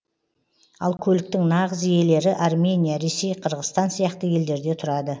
ал көліктің нағыз иелері армения ресей қырғызстан сияқты елдерде тұрады